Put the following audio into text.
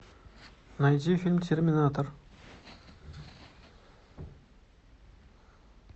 найди фильм терминатор